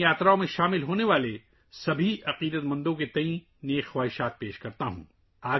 میں ان یاترا میں شریک تمام عقیدت مندوں کو اپنی نیک تمناؤں کا اظہار کرتا ہوں